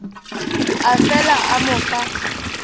a fela a mo fa